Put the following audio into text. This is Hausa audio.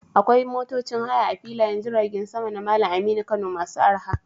Akwai motocin haya a filayen jiragen sama na Malam Aminu Kano masu arha.